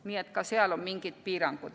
Nii et ka seal on mingid piirangud.